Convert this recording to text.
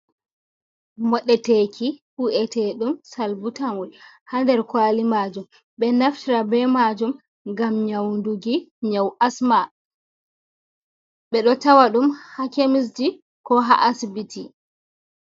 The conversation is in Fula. Moɗeteki hu’eteɗum salbutamol ha der kwali majum. Be ɗo naftira be majum ngam nyaunɗuki nyau asma. Be ɗo tawa ɗum ha kemisji ko ha asbiti.